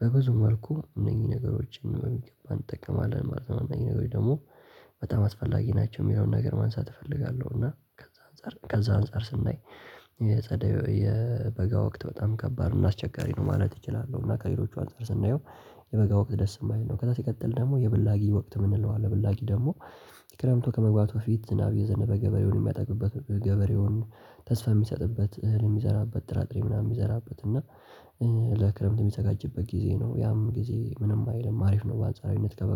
በብዙ መልኩ እነኝህ ነገሮችን በሚገባ እንጠቀማለን ማለት ነው። እነኚህ ነገሮች ደግሞ በጣም አስፈላጊ ናቸው የሚለውን ነገር ማንሳት እፈልጋለሁ። እና ከዛ አንፃር ስናይ የጸደይ የበጋ ወቅት በጣም ከባድ ነው አስቸጋሪ ነው ማለት እችላለሁ። እና ከሌሎቹ አንፃር ስናየው የበጋ ወቅት ደስ የማይል ነው። ከዛ ሲቀጥል ደግሞ የብላጊ ወቅት የምንለው አለ ብላጊ ደግሞ የክረምቱ ከመግባቱ በፊት ዝናብ አየዘነበ ገበሬውን የሚያጠግበት ገበሬውን ተስፋ የሚሰጥበት እህልን የሚዘራበት ጥራጥሬ ምናምን የሚዘራበት እና ለክረምት የሚያዘጋጅበት ጊዜ ነው። ያም ጊዜ ምንም አይልም አሪፍ ነው በአንጻራዊነት ከበጋ